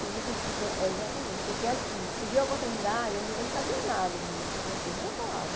Fiz o curso de fran eh, exatamente, porque assim, surgiu a oportunidade, eu não sabia nada de francês, nenhuma palavra.